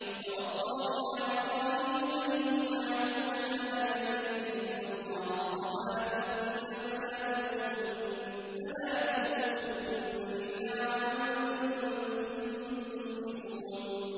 وَوَصَّىٰ بِهَا إِبْرَاهِيمُ بَنِيهِ وَيَعْقُوبُ يَا بَنِيَّ إِنَّ اللَّهَ اصْطَفَىٰ لَكُمُ الدِّينَ فَلَا تَمُوتُنَّ إِلَّا وَأَنتُم مُّسْلِمُونَ